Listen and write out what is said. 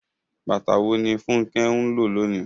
Bàtà wo ni Funke ń lò lónìí?